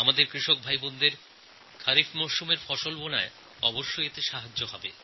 আমাদের কৃষক ভাইবোনেদের খারিফ শস্যরোপণে সাহায্য হবে